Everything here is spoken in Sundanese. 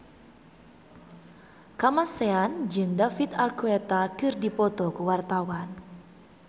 Kamasean jeung David Archuletta keur dipoto ku wartawan